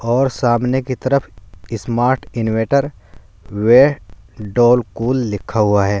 और सामने की तरफ ई स्मार्ट इन्वेटर वे डोल कूल लिखा हुआ है।